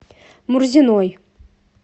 мурзиной